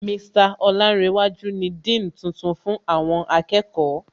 Mr Olánréwájú ni Dean tuntun fún àwọn akẹ́kọ̀ọ́